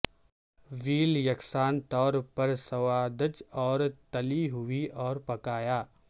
well یکساں طور پر سوادج اور تلی ہوئی اور پکایا